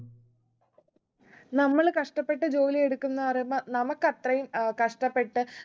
നമ്മള് കഷ്ടപ്പെട്ട് ജോലിയെടുക്കുന്ന് പറയുമ്പോ നമ്മുക്കത്രയും ഏർ കഷ്ടപ്പെട്ട്